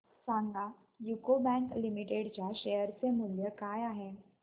सांगा UCO bank limited च्या share चे मूल्य काय आहे